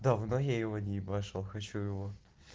давно я его не ебашил хочу его